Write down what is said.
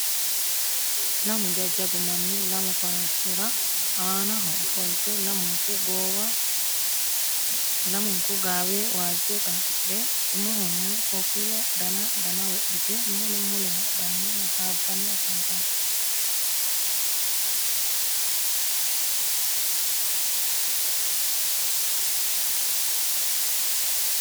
lamu jajabu manni lamu farashira aannaho ofolitte lamunku gaawe waajo xaxidhe umohonno kofiya dana dana wodhite mule mule hadhanni hasabanni afantanno.